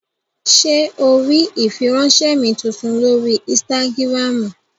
Ṣé o rí ìfiránsẹ́ mi tuntun lórí ínstágíráàmù?